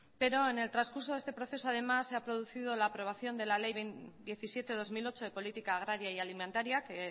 pero en el transcurso de este proceso además se ha producido la aprobación de la ley diecisiete barra dos mil ocho de política agraria y alimentaria que